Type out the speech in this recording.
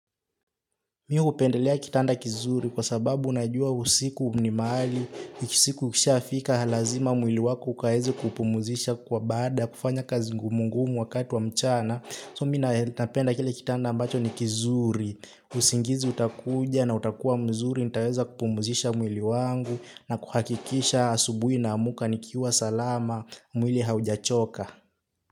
Mi hupendelea kitanda kinzuri. Kwa sababu, najua usiku ni mahali, usiku ukishafika lazima mwili wako ukaeze kuupumuzisha. Kwa baada ya kufanya kazi ngumungumu wakati wa mchana. So, minae nitapenda kile kitanda ambacho ni kinzuri. Usingizi utakuja na utakuwa mzuri, nitaweza kupumuzisha mwili wangu na kuhakikisha asubuhi naamka nikiwa salama mwili haujachoka.